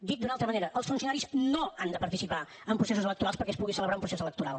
dit d’una altra manera els funcionaris no han de participar en processos electorals perquè es pugui celebrar un procés electoral